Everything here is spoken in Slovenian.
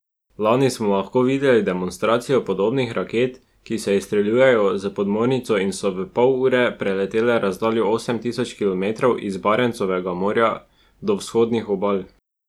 Lani smo lahko videli demonstracijo podobnih raket, ki se izstreljujejo s podmornic in so v pol ure preletele razdaljo osem tisoč kilometrov iz Barentsovega morja do vzhodnih obal.